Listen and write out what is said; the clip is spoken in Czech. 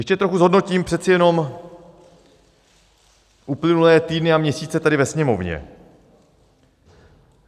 Ještě trochu zhodnotím přece jenom uplynulé týdny a měsíce tady ve Sněmovně.